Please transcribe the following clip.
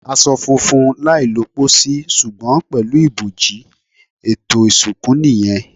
Aṣọ funfun, láì lọ pòsì, ṣùgbọ́n pẹ̀lú ibojì; ètò ìsìnkú nìyẹn.